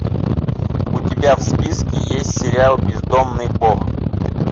у тебя в списке есть сериал бездомный бог